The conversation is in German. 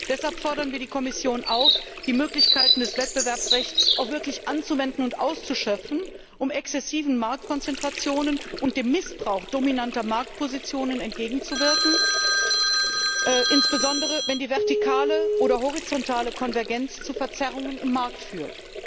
Deshalb fordern wir die Kommission auf, die Möglichkeiten des Wettbewerbsrechts auch wirklich anzuwenden und auszuschöpfen, um exzessiven Marktkonzentrationen und dem Missbrauch dominanter Marktpositionen entgegenzuwirken, insbesondere wenn die vertikale oder horizontale Konvergenz zu Verzerrungen im Markt führt.